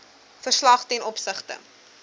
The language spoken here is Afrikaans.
verslag ten opsigte